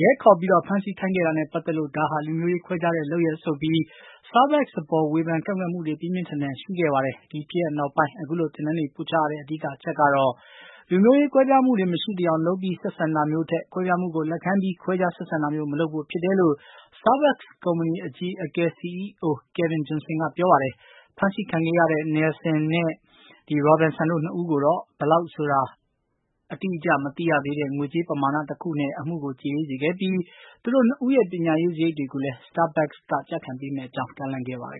ရဲခေါ်ပြီး ဖမ်းဆီးခိုင်းခဲ့တာနဲ့ပတ်သက်လို့ ဒါဟာ လူမျိုးရေးခွဲခြားတဲ့လုပ်ရပ်ဆိုပြီး Starbucks အပေါ် ဝေဖန် ကန့်ကွက်မှုတွေ ပြင်းပြင်းထန်ထန် ဖြစ်ခဲ့တာပါ။ ဒီဖြစ်ရပ်နောက်ပိုင်း အခုလို သင်တန်းတွေ ပို့ချရတဲ့ အဓိကအချက်ကတော့ လူမျိုးရေးကွဲပြားမှုတွေ မရှိသယောင် လုပ်ပြီး ဆက်ဆံတာမျိုးထက် ကွဲပြားမှုကို လက်ခံပြီး ခွဲခြားဆက်ဆံတာမျိုး မလုပ်ဖို့ဖြစ်တယ်လို့ Starbucks ကုမ္ပဏီ အကြီးအကဲ စီအီးအို Kevin Johnson က ပြောပါတယ်။ ဖမ်းဆီးခံခဲ့ရတဲ့ Nelson and Robinson တို့နှစ်ဦးကိုတော့ ဘယ်လောက်ဆိုတာ အတိအကျမသိရတဲ့ ငွေကြေးပမာနတခုနဲ့ အမှုကို ကြေအေးစေခဲ့ပြီး သူတို့နှစ်ဦးရဲ့ ပညာရေးစရိတ်တွေကိုလည်း Starbucks က ကျခံပေးမယ့်အကြောင်း ကမ်းလှမ်းခဲ့ပါတယ်